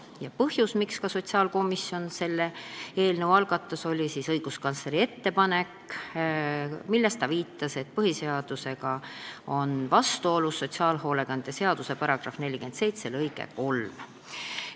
Ja põhjus, miks sotsiaalkomisjon selle eelnõu algatas, oli õiguskantsleri ettepanek, milles ta viitas, et põhiseadusega on vastuolus sotsiaalhoolekande seaduse § 47 lõige 3.